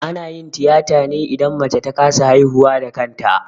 Ana yin tiyata ne idan mace ta kasa haihuwa da kanta